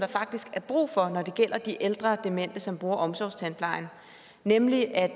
faktisk er brug for når det gælder de ældre demente som bruger omsorgstandplejen nemlig at